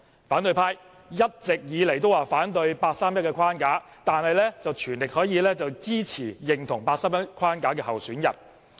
反對派一直以來都反對人大八三一框架，但卻全力支持及認同八三一框架下的候選人。